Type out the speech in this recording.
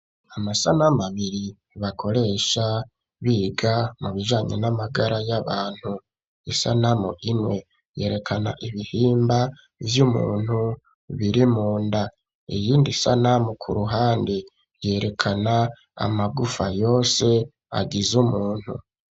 Amasanamu abiri bakoresha biga mu bijanye n'amagara y'abantu isanamu imwe yerekana ibihimba vy'umuntu biri munda iyindi sanamu ku ruhande yerekana amagufa yose agize umuntu.